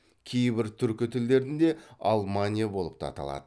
кейбір түркі тілдерінде алмания болып та аталады